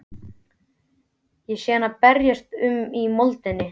Sé hana berjast um í moldinni.